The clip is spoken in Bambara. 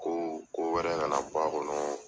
Ko, ko wɛrɛ ka na bɔ a kɔnɔ